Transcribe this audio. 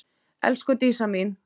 Elsku Dísa mín.